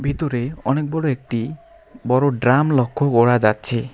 ভিতুরে অনেক বড়ো একটি বড়ো ড্রাম লক্ষ্য করা যাচ্ছে।